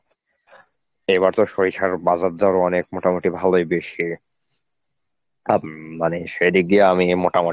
এবার তো সরিষার বাজার দর অনেক মোটামুটি ভালই বেশি অ্যাঁ মানে সেদিক দিয়ে আমি মোটামুটি